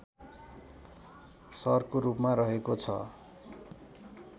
सहरको रूपमा रहेको छ